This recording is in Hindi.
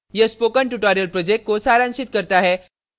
यह spoken tutorial project को सारांशित करता है